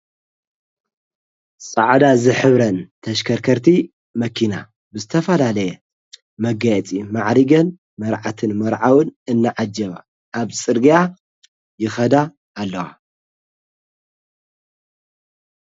ሰዕዳ ዝኅብረን ተሽከርከርቲ መኪና ብስተፋላለየ መጋያፂ መዕሪገን መርዓትን መርዓውን እነዓጀባ ኣብ ጽርግያ ይኸዳ ኣለዋ።